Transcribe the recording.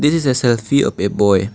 This is a selfie of a boy.